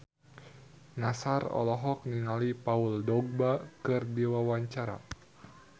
Nassar olohok ningali Paul Dogba keur diwawancara